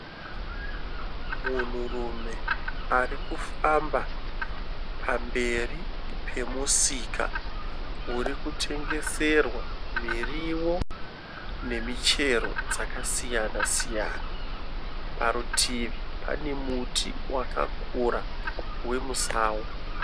Munhurume ari kufamba pamberi pemusika uri kutengeserwa miriwo nemichero dzakasiyana siyana. Parutivi pane muti wakakura wemusango.